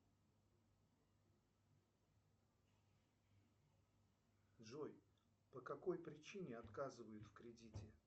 джой по какой причине отказывают в кредите